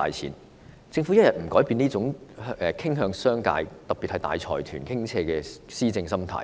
如果政府不改變傾向商界，特別是向大財團傾斜的施政心態，